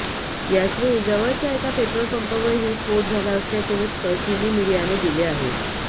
याचवेळी जवळच्या एका पेट्रोलपंपावरही स्फोट झाला असल्याचे वृत्त चिनी मिडीयाने दिले आहे